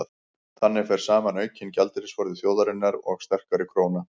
þannig fer saman aukinn gjaldeyrisforði þjóðarinnar og sterkari króna